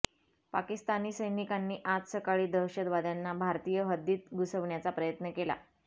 पाकिस्तानी सैनिकांनी आज सकाळी दहशतवाद्यांना भारतीय हद्दीत घुसवण्याचा प्रयत्न केला